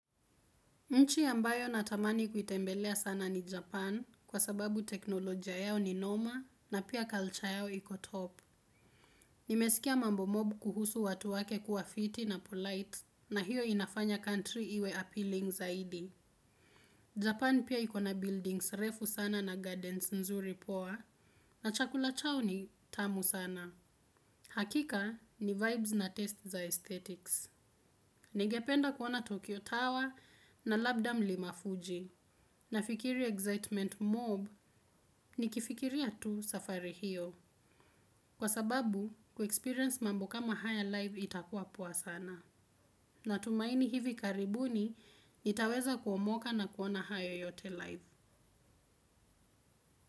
Nchi ambayo natamani kuitembelea sana ni Japan kwa sababu teknolojia yao ni noma na pia kalcha yao iko top. Nimesikia mambo mob kuhusu watu wake kuwa fiti na polite na hiyo inafanya country iwe appealing zaidi. Japana piq iko na buildings refu sana na gardens nzuri poa na chakula chao ni tamu sana. Hakika ni vibes na test za aesthetics. Nigependa kuona Tokyo Tower na labda mlima fuji. Nafikiri excitement mob nikifikiria tu safari hiyo. Kwa sababu, kuexperience mambo kama haya live itakuwa poa sana. Natumaini hivi karibuni, nitaweza kuomoka na kuona haya yote live.